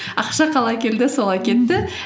ақша қалай келді солай кетті